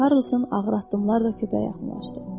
Karlson ağır addımlarla köpəyə yaxınlaşdı.